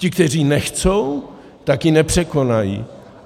Ti, kteří nechtějí, tak ji nepřekonají.